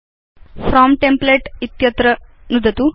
from template इत्यत्र नुदतु